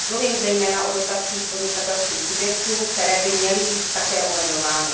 Mluvím zejména o dotacích podnikatelským subjektům, které by měly být také omezovány.